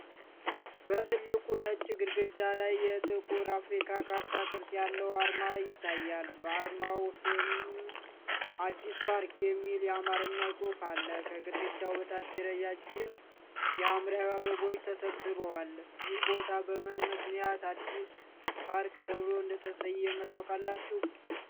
በትልቁ ነጭ ግድግዳ ላይ የጥቁር አፍሪካ ካርታ ቅርጽ ያለው አርማ ይታያል፤ በአርማው ስርም "አዲስ ፓርክ" የሚል የአማርኛ ጽሑፍ አለ። ከግድግዳው በታች ረዣዥም የሐምራዊ አበባዎች ተሰብስበዋል፤ ይህ ቦታ በምን ምክንያት "አዲስ ፓርክ" ተብሎ እንደተሰየመ ታውቃላችሁ?